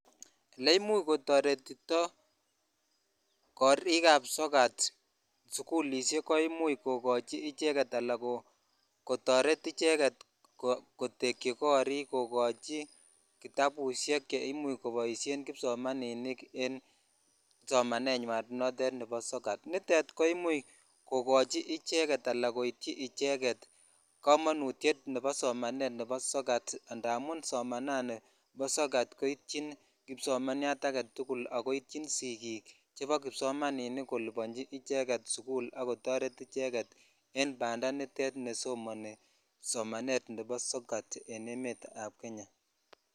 Ole imuch kotoretito karik ab sokatsikulishek ko imuch kokochi icheget ala kotoret icheget kotekyi korik kookochi kitabushek che imuch koboishen kipsomaninik en somanenywan notet nebo sokatnitet ko imuch kokoch icheget ala koityi icheget kamanutyet nebo somanet nebo sokat amun somanani bo sokat komuch koityi kipsomaninik aketukul ak koityin sisik chepo kipsomaninik kolibonchi icheget sukulakotoret icheget en pandaa nitet bo somanet nebo sokat en emet ab Kenya.